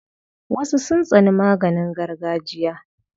Wasu sun tsani maganin gargajiya.